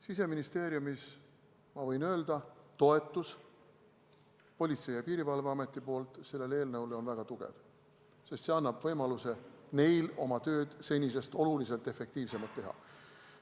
Siseministeeriumis, ma võin öelda, on toetus Politsei- ja Piirivalveametilt sellele eelnõule väga tugev, sest see annab neile võimaluse oma tööd senisest oluliselt efektiivsemalt teha.